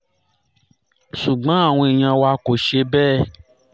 ṣùgbọ́n àwọn èèyàn wa kò ṣe bẹ́ẹ̀